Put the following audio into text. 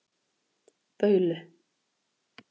Baulu